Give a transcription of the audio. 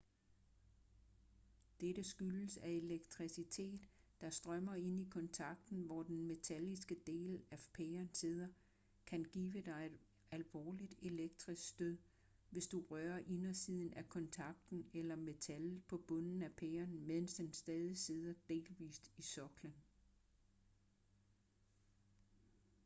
dette skyldes at elektricitet der strømmer ind i kontakten hvor den metalliske del af pæren sidder kan give dig et alvorligt elektrisk stød hvis du rører indersiden af kontakten eller metallet på bunden af pæren mens den stadig sidder delvist i soklen